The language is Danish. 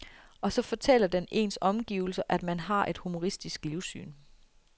Og så fortæller den ens omgivelser, at man har et humoristisk livssyn.